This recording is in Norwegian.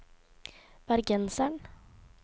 bergenseren